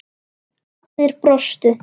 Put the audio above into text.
Allir brostu.